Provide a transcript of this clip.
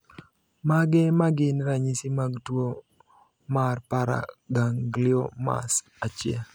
Mage magin ranyisi mag tuo marParagangliomas 1?